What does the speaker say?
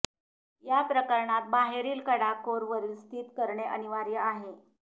या प्रकरणात बाहेरील कडा कोर वरील स्थित करणे अनिवार्य आहे